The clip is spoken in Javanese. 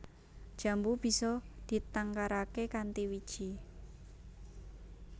Jambu bisa ditangkaraké kanthi wiji